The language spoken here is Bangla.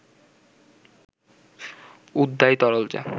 উদ্বায়ী তরল যা